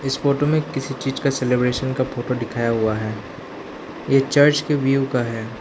Photo में किसी चीज का सेलिब्रेशन का फोटो दिखाया हुआ है ये चर्च के व्यू का है।